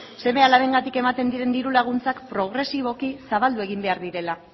seme alabengatik ematen diren diru laguntzak progresiboki zabaldu egin behar direla